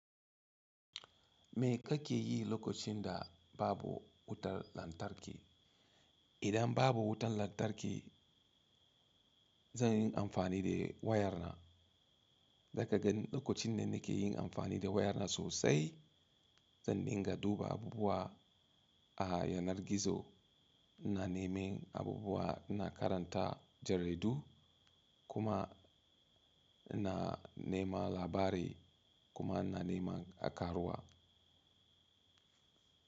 Me kake yi lokacin da babu wutar lantarki? Idan babu wutar lantarki, zan yi amfani da wayar na. Zaka ganni lakocin nan nake yin amfani da waya na sosai. Zan dinga duba abubuwa a yanar gizo, na nemi abubuwa, na karanta jaridu kuma ina nema labari kuma na nema a karuwa.